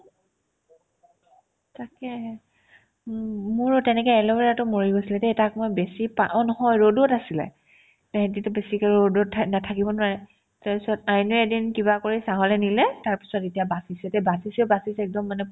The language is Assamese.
উম মোৰো তেনেকে এলুবেৰাতো মৰি গৈছিলে দেই তাক মই বেছি পা অ' নহয় ৰ'দত আছিলে এহেতেতো বেছিকে ৰ'দত থা নে থাকিব নোৱাৰে তাৰপিছত আইনোয়ে এদিন কিবা কৰি ছাঁ লে নিলে তাৰপিছত এতিয়া বাচিছে দেই বাচিছে বাচিছে একদম মানে ভাল ধুনিয়া হৈছে আৰু